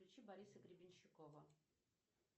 включи бориса гребенщикова